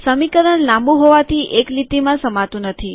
સમીકરણ લાંબુ હોવાથી એક લીટીમાં સમાતું નથી